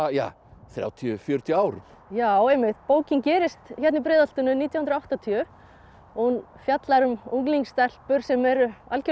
þrjátíu til fjörutíu árum já einmitt bókin gerist hérna í Breiðholtinu nítján hundruð og áttatíu hún fjallar um unglingsstelpur sem eru algjörlega